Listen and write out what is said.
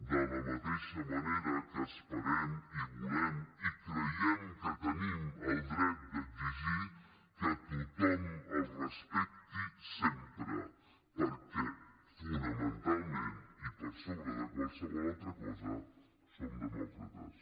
de la mateixa manera que esperem i volem i creiem que tenim el dret d’exigir que tothom el respecti sempre perquè fonamentalment i per sobre de qualsevol altra cosa som demòcrates